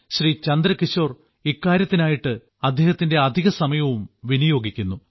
ശ്രീ ചന്ദ്രകിശോർ ഇക്കാര്യത്തിനായിട്ട് അദ്ദേഹത്തിന്റെ അധിക സമയവും വിനിയോഗിക്കുന്നു